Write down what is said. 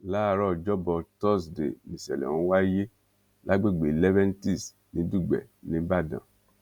láàárọ̀ ọjọ́ bọ̀ tọ́sìdeè nìṣẹ̀lẹ̀ ọ̀hún wáyé lágbègbè leventis ní dùgbẹ̀ níbàdàn